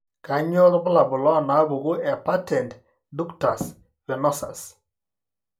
Kainyio irbulabul onaapuku ePatent ductus venosus?